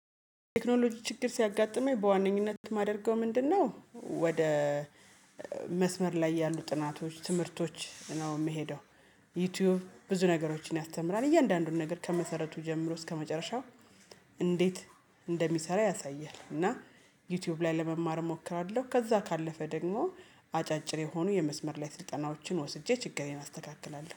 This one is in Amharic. ቴክኖሎጂ ችግር ሲያጋጥመኝ በዋነኝነት የማደርገው ምንድነው፤ ወደ መስመር ላይ ያሉ ጥናቶች ትምህርቶች ነው የምሄደው። ዩቲዩብ ብዙ ነገሮችን ያስተምራል። እያንዳንዱን ነገር ከመሰረቱ ጀምሮ እስከመጨረሻው እንዴት እንደሚሰራ ያሳያል፤ እና ዩቲዩብ ላይ ለመማር እሞክራለሁ። ከዛ ካለፈ ደግሞ አጫጭር የሆኑ የመስመር ላይ ስልጠናዎችን ወስጄ ችግሬን አስተካክላለሁ።